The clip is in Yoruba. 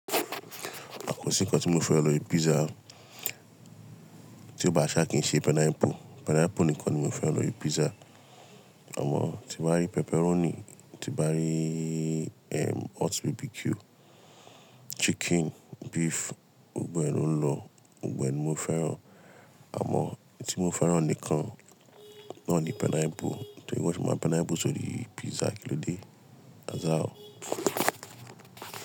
Àpò sí nǹkan tí mo fẹ́ran lórí pizza. Tí ó bá ṣá kí n ṣe pineapple. Pineapple nìkan ni mo fẹ́ran lórí pizza. Àmọ́ tí bá rí pepperoni, tí bá rí ehm hot barbecue, chicken, beef, gbogbo ẹn lọ, gbogbo ẹn ni mo fẹ́ran. Àmọ́ tí mo fẹ́ran nìkan náà ni pineapple. Ṣé ìwọ ti máa pineapple sórí pizza? Kí ló dé? As how.